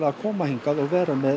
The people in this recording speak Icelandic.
að koma og vera með